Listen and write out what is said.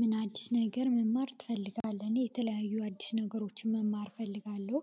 ምን አዲስ ነገር መማር ትፈልጋለህ? እኔ የተለያዩ አዲስ ነገሮችን መማር እፈልጋለሁ